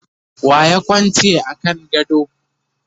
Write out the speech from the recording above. waye Kwance a kan gado?